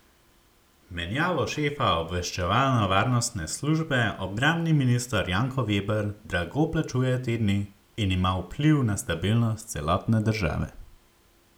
Menjavo šefa obveščevalno varnostne službe obrambni minister Janko Veber drago plačuje te dni in ima vpliv na stabilnost celotne države.